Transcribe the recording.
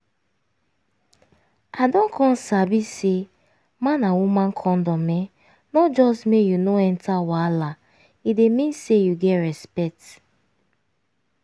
i don come sabi say man and woman condom[um]no just make you no enter wahala e dey mean say you get respect